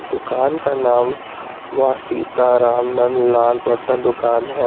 दुकान का नाम मा सीताराम नंदलाल बर्तन दुकान है।